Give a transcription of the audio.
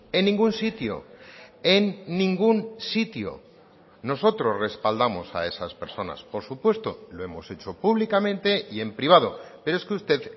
en ningún sitio en ningún sitio nosotros respaldamos a esas personas por supuesto lo hemos hecho públicamente y en privado pero es que usted